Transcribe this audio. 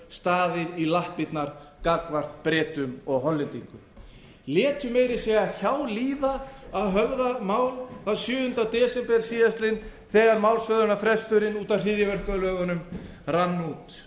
staðið í lappirnar gagnvart bretum og hollendingum þau létu meira að segja hjá líða að höfða mál þann sjöunda desember síðastliðinn þegar málshöfðunarfresturinn út af hryðjuverkalögunum rann út